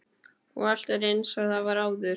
Og allt er einsog það var áður.